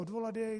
Odvolat jej?